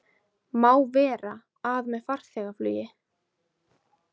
Má vera, að með farþegaflugi